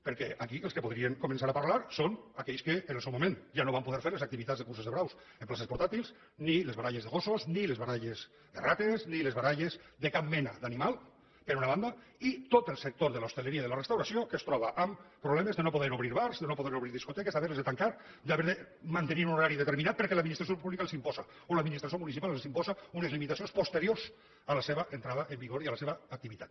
perquè aquí els que podrien començar a parlar són aquells que en el seu moment ja no van poder fer les activitats de curses de braus en places portàtils ni les baralles de gossos ni les baralles de rates ni les baralles de cap mena d’animal per una banda i tot el sector de l’hoteleria i la restauració que es troba amb problemes de no poder obrir bars de no poder obrir discoteques d’haver les de tancar d’haver de mantenir un horari determinat perquè l’administració pública els ho imposa o l’administració municipal els imposa unes limitacions posteriors a la seva entrada en vigor i a la seva activitat